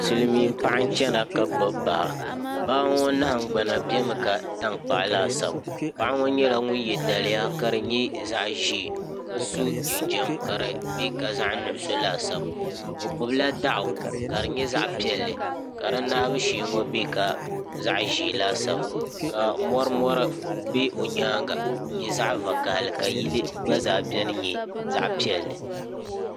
silmiin paɣa n chɛna ka gbubi baa baa ŋo nahangbana nyɛla zaɣ tankpaɣu laasabu paɣa ŋo nyɛla ŋun yɛ liiga ka di nyɛ zaɣ ʒiɛ ka so jinjɛm ka di bɛ ka zaɣ nuɣso laasabu o gbubila daɣu ka di nyɛ zaɣ piɛlli ka di naabu shee ŋo nyɛ bɛ ka zaɣ ʒiɛ laasabu ka morimori bɛ o nyanga n nyɛ zaɣ vakaɣali ka yili gba zaa biɛni nyɛ zaɣ piɛlli